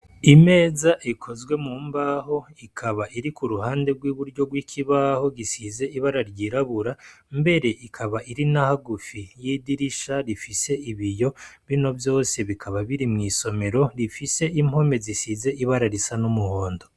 Imeza ekozwe mu mbaho ikaba iri ku ruhande rw'iburyo rw'ikibaho gisize ibara ryirabura mbere ikaba iri nahagufi y'idirisha rifise ibiyo bino vyose bikaba biri mw'isomero rifise impome zisize ibara risa n'umuhondo.